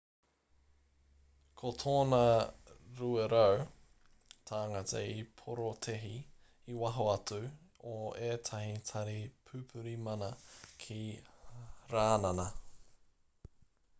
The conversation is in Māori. ko tōna 200 tāngata i porotēhi i waho atu o ētahi tari pupuri mana ki rānana